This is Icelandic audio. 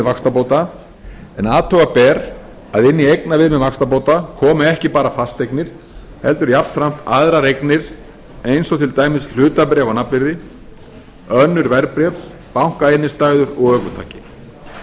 vaxtabóta en athuga ber að inni í eignaviðmið vaxtabóta komi ekki bara fasteignir heldur jafnframt aðrar eignir eins og til dæmis hlutabréf á nafnvirði önnur verðbréf bankainnstæður og ökutæki